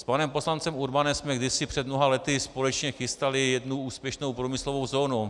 S panem poslancem Urbanem jsme kdysi před mnoha lety společně chystali jednu úspěšnou průmyslovou zónu.